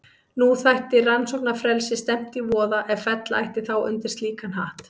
Nú þætti rannsóknarfrelsi stefnt í voða ef fella ætti þá undir slíkan hatt.